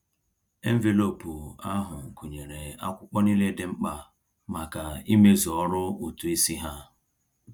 Enveloopu ahụ gụnyere akwụkwọ niile dị mkpa maka ịmezu ọrụ ụtụisi ha.